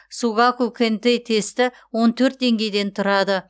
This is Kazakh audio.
сугаку кэнтэй тесті он төрт деңгейден тұрады